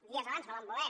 dies abans no van voler